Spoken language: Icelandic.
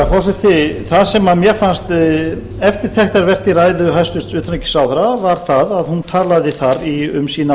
forseti það sem mér fannst eftirtektarvert í ræðu hæstvirts utanríkisráðherra var það að hún talaði þar um sína